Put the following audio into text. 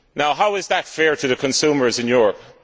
How is that fair to consumers in Europe?